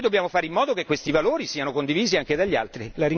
Noi dobbiamo fare in modo che questi valori siano condivisi anche dagli altri.